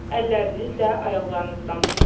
Əllərinizlə ayaqlarınızdan tutun.